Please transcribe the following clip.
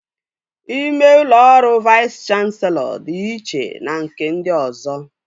Ime ụlọ ọrụ Vais Kanselọ dị iche na nke ndị ọzọ